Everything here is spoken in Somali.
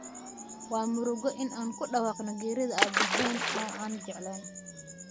Waa murugo in aan ku dhawaaqno geerida aabaheen oo aan jeclaa